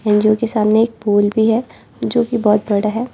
अंजू के सामने एक पोल भी है जो की बहुत बड़ा है।